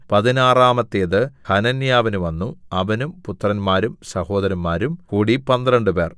പതിനാറാമത്തേത് ഹനന്യാവിന് വന്നു അവനും പുത്രന്മാരും സഹോദരന്മാരും കൂടി പന്ത്രണ്ടുപേർ